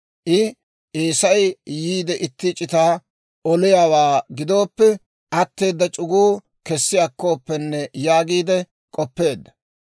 I, «Eesay yiide itti c'itaa oliyaawaa gidooppe, atteeda c'uguu kessi akkooppenne» yaagiide k'oppeedda.